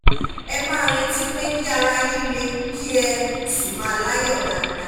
ẹ máa retí pé kí ara yín le kí ẹ sì máa láyọ̀ dáadáa